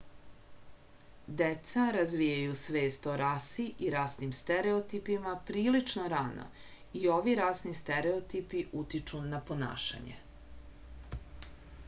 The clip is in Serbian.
deca razvijaju svest o rasi i rasnim stereotipima prilično rano i ovi rasni stereotipi utiču na ponašanje